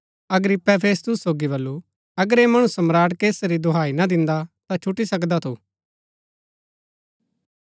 अग्रिप्पे फेस्तुस सोगी बल्लू अगर ऐह मणु सम्राट कैसर री दोहाई ना दिन्दा ता छुटी सकदा थु